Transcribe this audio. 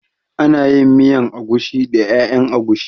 Ana yin miyan agushi da ƴaƴan agushi